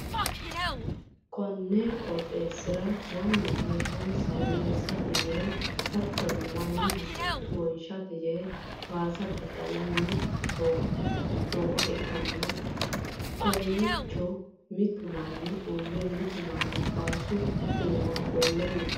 konni qooxeessira mannu heesshshsonsa woyyeessate yee hattono mannu hasatto wonshate yee waasa daddalanni nooha ikkanna, kowiicho mitu manni uurre mitu manni waasu iima ofolle no.